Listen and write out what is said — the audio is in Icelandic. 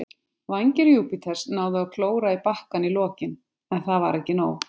Vængir Júpiters náðu að klóra í bakkann í lokin, en það var ekki nóg.